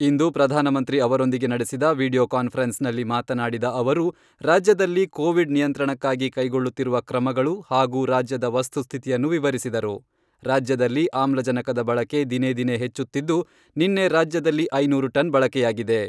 ಇಂದು ಪ್ರಧಾನಮಂತ್ರಿ ಅವರೊಂದಿಗೆ ನಡೆಸಿದ ವೀಡಿಯೋ ಕಾನ್ಪರೆನ್ಸ್ನಲ್ಲಿ ಮಾತನಾಡಿದ ಅವರು, ರಾಜ್ಯದಲ್ಲಿ ಕೋವಿಡ್ ನಿಯಂತ್ರಣಕ್ಕಾಗಿ ಕೈಗೊಳ್ಳುತ್ತಿರುವ ಕ್ರಮಗಳು ಹಾಗೂ ರಾಜ್ಯದ ವಸ್ತುಸ್ಥಿತಿಯನ್ನು ವಿವರಿಸಿದರು.ರಾಜ್ಯದಲ್ಲಿ ಆಮ್ಲಜನಕದ ಬಳಕೆ ದಿನೇ ದಿನೇ ಹೆಚ್ಚುತ್ತಿದ್ದು, ನಿನ್ನೆ ರಾಜ್ಯದಲ್ಲಿ ಐನೂರು ಟನ್ ಬಳಕೆಯಾಗಿದೆ.